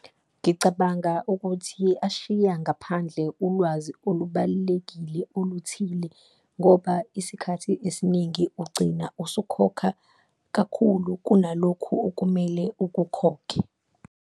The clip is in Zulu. Ngicabanga ukuthi ashiya ngaphandle ulwazi olubalulekile oluthile, ngoba isikhathi esiningi ugcina usukhokha kakhulu kunalokhu okumele ukukhokhe.